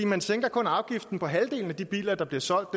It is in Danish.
man sænker kun afgiften på halvdelen af de biler der bliver solgt og